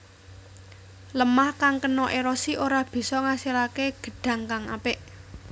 Lêmah kang kena érosi ora bisa ngasilaké gedhang kang apik